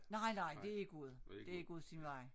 Nej nej det gået det gået sin vej